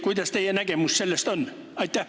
Kuidas teie nägemus on?